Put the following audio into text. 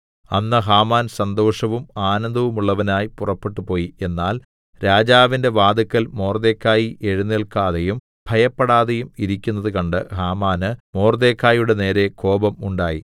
അന്ന് ഹാമാൻ സന്തോഷവും ആനന്ദവുമുള്ളവനായി പുറപ്പെട്ടുപോയി എന്നാൽ രാജാവിന്റെ വാതില്ക്കൽ മൊർദെഖായി എഴുന്നേല്ക്കാതെയും ഭയപ്പെടാതെയും ഇരിക്കുന്നത് കണ്ട് ഹാമാന് മൊർദെഖായിയുടെ നേരെ കോപം ഉണ്ടായി